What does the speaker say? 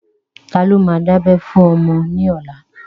Ta ló ma dábẹ́ fún ọmọ ní ọlá?